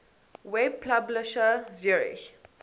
web publisher zurich